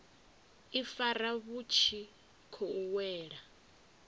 ifara vhu tshi khou wela